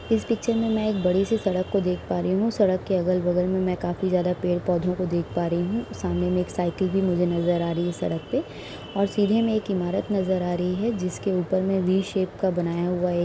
इस पिक्चर में मैं एक बड़ी सी सड़क को देख पा रही हूं। सड़क के अगल-बगल में मैं काफी ज्यादा पेड़ पौधों को देख पा रही हूं। सामने में एक साइकिल भी मुझे नजर आ रही है। सड़क पे और सीधे में एक इमारत नजर आ रही हैं। जिसके ऊपर में वी शेप का बनाया हुआ एक --